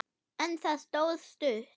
En það stóð stutt.